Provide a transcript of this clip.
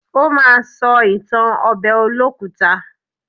Ó ma sọ ìtàn ọbẹ̀ olókùta.